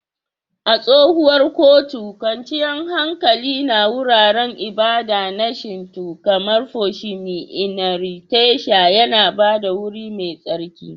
A tsohuwar Kyoto, kwanciyar hankali na wuraren ibada na Shinto kamar Fushimi Inari Taisha ya ba da wuri mai tsarki.